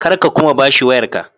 Kar ka kuma ba shi wayarka.